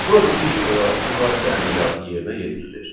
Burada ilk olaraq müqayisə əməliyyatı yerinə yetirilir.